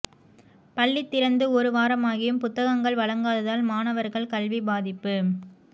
பள்ளி திறந்து ஒரு வாரமாகியும் புத்தகங்கள் வழங்காததால் மாணவர்கள் கல்வி பாதிப்பு